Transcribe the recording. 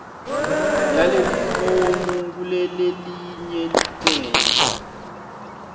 yalelifomu kulelelinye licele